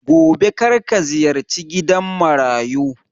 Gobe karka ziyarci gidan Marayu